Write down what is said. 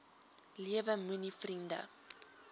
lewe moenie vriende